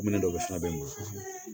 Minɛn dɔw fana bɛ n bolo